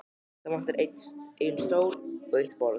Það vantar einn stól og eitt borð.